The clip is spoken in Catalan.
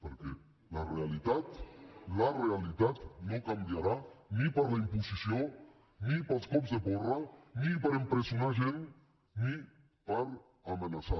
perquè la realitat la realitat no canviarà ni per la imposició ni pels cops de porra ni per empresonar gent ni per amenaçar